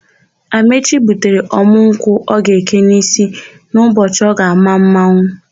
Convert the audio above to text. Amaechi gbutere ọ̀mụ́ nkwụ ọ ga-eke n'ísí n'ụbọchị ọ ga-àmá mmanwụ.